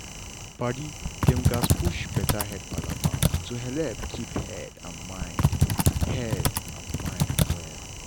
padi dem gatz push better head palava to helep keep head and mind head and mind well.